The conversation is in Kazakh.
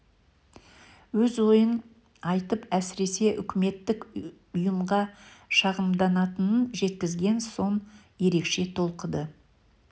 өз ойын айтып әсіресе үкіметтік ұйымға шағымданатынын жеткізген соң ерекше толқыды